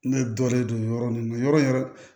Ne dɔlen don yɔrɔ nin na yɔrɔ in yɛrɛ